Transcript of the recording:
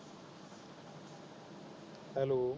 hello